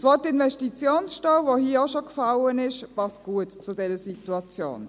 Das Wort Investitionsstau, das hier auch schon gefallen ist, passt gut zu dieser Situation.